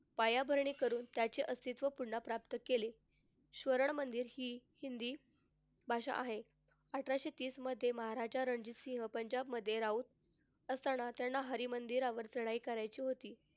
पायाभरणी करून त्याचे अस्तित्व पुन्हा प्राप्त केले. सुवर्ण मंदिर हि हिंदी भाषा आहे. अठराशे तीसमध्ये महाराजा रणजित सिंह पंजाबमधे राहत असताना त्यांना हरी मंदिरावर चढाई करायची होती.